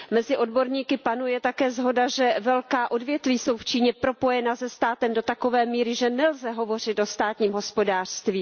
Mezi odborníky panuje také shoda, že velká odvětví jsou v Číně propojena se státem do takové míry, že nelze hovořit o státním hospodářství.